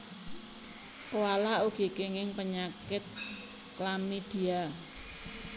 Koala ugi kenging penyakit chlamydia